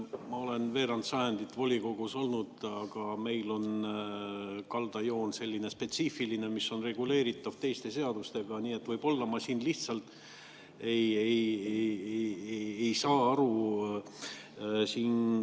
Ma olen veerand sajandit volikogus olnud, aga meil on kaldajoon selline spetsiifiline, mis on reguleeritav teiste seadustega, nii et võib-olla ma siin lihtsalt ei saa aru.